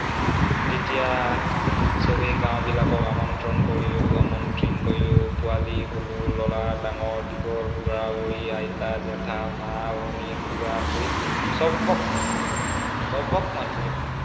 তেতিয়া সৱেই গাওঁবিলাকক আমন্ত্ৰণ কৰিলো। আমন্ত্ৰণ কৰিলো, পোৱালী, সৰু, লৰা ডাঙৰ দীঘল, বুঢ়া-বুঢ়ী, আইতা জেঠা, মা ভনী খুড়া-খুড়ী সৱক সৱক মাতিলো।